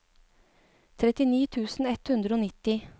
trettini tusen ett hundre og nitti